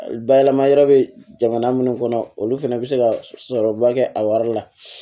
Bayɛlɛma yɔrɔ bɛ jamana minnu kɔnɔ olu fana bɛ se ka sɔrɔba kɛ a wari la